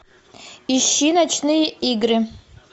ищи ночные игры